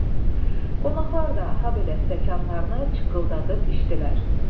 Qonaqlar da habelə stəkanlarını çıqqıldadıb içdilər.